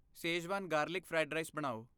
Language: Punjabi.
ਸੇਜ਼ਵਾਨ ਗਾਰਲਿਕ ਫਰਾਈਡ ਰਾਈਸ ਬਣਾਓ।